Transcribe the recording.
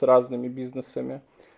с разными бизнесами